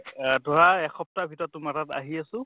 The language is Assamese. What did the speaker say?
আহ ধৰা এসপ্তাহ ভিতৰত তোমাৰ তাত আহি আছো